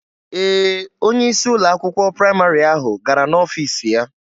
Ee, onye isi ụlọ akwụkwọ praịmarị ahụ gara n'ọfiisi ya.